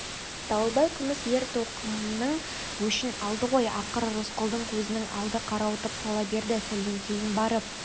дауылбай күміс ер-тоқымның өшін алды ғой ақыры рысқұлдың көзінің алды қарауытып сала берді сәлден кейін барып